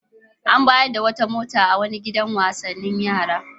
An bayar da wata mota ga wani gidan wasanni na yara.